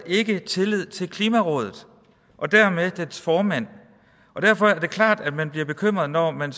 ikke havde tillid til klimarådet og dermed dets formand derfor er det klart at man bliver bekymret når man